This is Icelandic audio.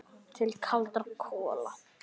Til kaldra kola.